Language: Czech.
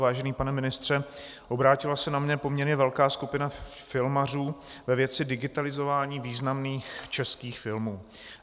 Vážený pane ministře, obrátila se na mě poměrně velká skupina filmařů ve věci digitalizování významných českých filmů.